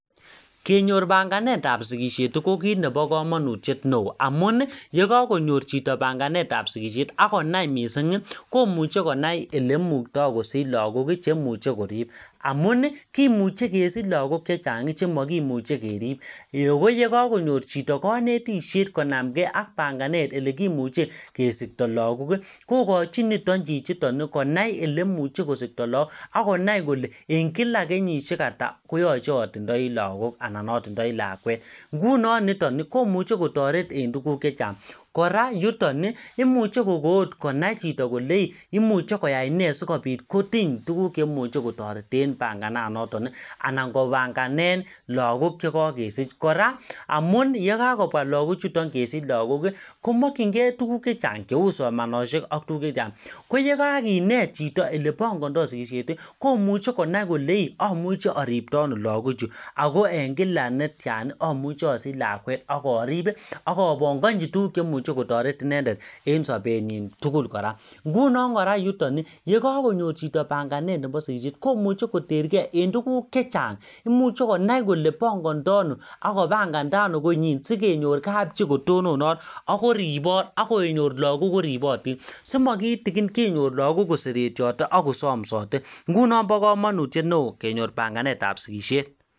Kenyor banganetab sigisiet ko kit nebo kamanutiet neo amun yekakonyor chito banganetab sikusiet ak konai mising, komuche konai olemukto kosich lagok chemuche korib amun kimuche kesich lagok chechang chemakimuche kerip ee akoyekakonyor chito kanetisiet konamche ak banganet olekimuche kesikto lagok kokochi niton chichiton konai elemuche kosikto lagok ak konai kole en kila kenyisiek ata koyachevatindoi lagok anan atindoi lakwet. Ngunon niton komuche kotoret en tuguk che chang. Kora yuton, imuche kokoot konai chito kolei, imuche koyai ne sigopit kotiny tuguk che imuche kotoreten pangananoto anan kopanganen lagok chekakesich. Kora yekakobwa lagochiton kesich lagok komakyinge tuguk chechang cheu somanosiek ak tuguk chechang. Koyekakinet chito olepangando sikisiet, komuche konai kole amuche aripto ano lagochu ago en kila netian amuche asich lakwet ak arip ak abongochi tuguk chemuche kotaret inendet en sobenyin tugul kora. Ingunon korayuton yekakonyor chito panganet nebo sikisiet komuche koterge en tuguk chechang. Imuche konai kole pangando ano ak kopangando ano konyin sigenyor kapchi kotononot ak kechor lagok koribotin simakitikin kenyor lagok koseretiote ak kosomsote. Ngunon bo kamautiet neo kenyor panganetab sikisiet.